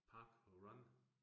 Park Run